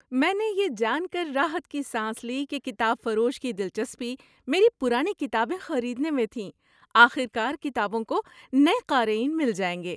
میں نے یہ جان کر راحت کی سانس لی کہ کتاب فروش کی دلچسپی میری پرانی کتابیں خریدنے میں تھی۔ آخرکار کتابوں کو نئے قارئین مل جائیں گے۔